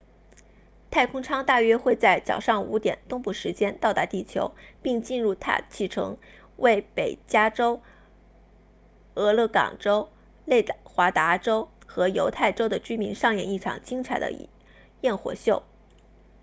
太空舱大约会在早上5点东部时间到达地球并进入大气层为北加州俄勒冈州内华达州和犹他州的居民上演一场精彩的焰火秀